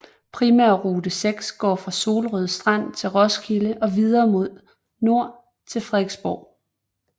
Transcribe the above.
Primærrute 6 går fra Solrød Strand til Roskilde og videre mod nord til Fredensborg